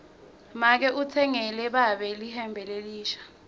make utsengele babe lihembe lelisha